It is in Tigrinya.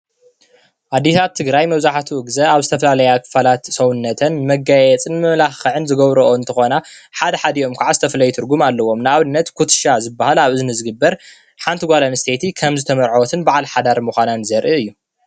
ኣዴታት ትግራይ መብዛሕትኡ ግዘ ኣብ ዝተፈላለዩ ክፋላት ሰውነተን መጋየፂን ንመማላኸዒን ዝገብርኦ እንትኾና ሓደ ሓዲኦም ድማ ዝተፈለየ ትርጉም ኣለዎም። ንኣብነት ኩትሻ ዝባሃል ኣብ እዝኒ ዝግበር ሓንቲ ጓል ኣነስተይቲ ከም ዝተመርዓወትን ባዓል ሓዳር ምዃናን ዘርኢ እዩ።